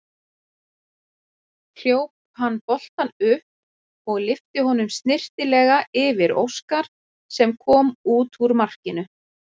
Hljóp hann boltann upp og lyfti honum snyrtilega yfir Óskar sem kom út úr markinu.